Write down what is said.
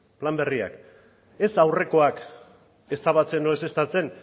plan berriak ez aurrekoak ezabatzen edo ezeztatzen